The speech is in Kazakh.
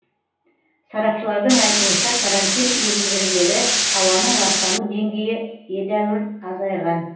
сарапшылардың айтуынша карантин енгізілгелі ауаның ластану деңгейі едәуір азайған